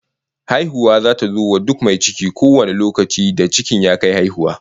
Haihuwa zata zo wa duk mai ciki kowane lokaci da cikin ya kai haihuwa